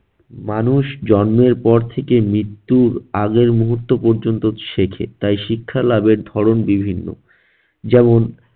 মানুষ জন্মের পর থেকে মৃত্যুর আগের মুহূর্ত পর্যন্ত শেখে, তাই শিক্ষা লাভের ধরন বিভিন্ন। যেমন-